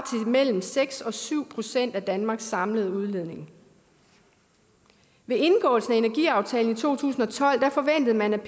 mellem seks og syv procent af danmarks samlede udledning ved indgåelsen af energiaftalen i to tusind og tolv forventede man